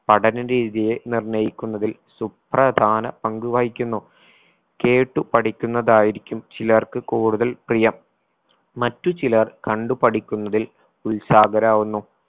പഠന രീതിയെ നിർണ്ണയിക്കുന്നതിൽ സുപ്രധാന പങ്കു വഹിക്കുന്നു. കേട്ട് പഠിക്കുന്നതായിരിക്കും ചിലർക്ക് കൂടുതൽ പ്രിയം. മറ്റു ചിലർ കണ്ടുപഠിക്കുന്നതിൽ ഉത്സാഹരാകുന്നു